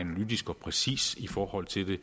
i forhold til hvad